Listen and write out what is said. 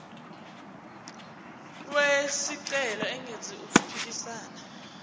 wesicelo engenzi okuphikisana